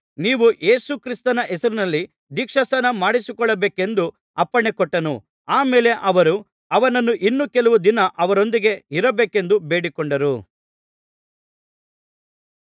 ನೀವು ಯೇಸು ಕ್ರಿಸ್ತನ ಹೆಸರಿನಲ್ಲಿ ದೀಕ್ಷಾಸ್ನಾನ ಮಾಡಿಸಿಕೊಳ್ಳಬೇಕೆಂದು ಅಪ್ಪಣೆಕೊಟ್ಟನು ಆ ಮೇಲೆ ಅವರು ಅವನನ್ನು ಇನ್ನೂ ಕೆಲವು ದಿನ ಅವರೊಂದಿಗೆ ಇರಬೇಕೆಂದು ಬೇಡಿಕೊಂಡರು